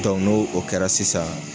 n'o o kɛra sisan